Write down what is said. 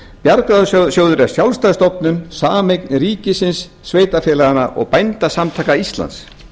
bjargráðasjóður er sjálfstæð stofnun sameign ríkisins sveitarfélaganna og bændasamtaka íslands